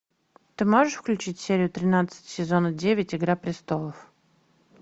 ты можешь включить серию тринадцать сезона девять игра престолов